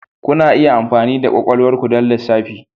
Kuna iya amfani da kwakwalwar ku don lissafi.